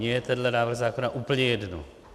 Mně je tenhle návrh zákona úplně jedno.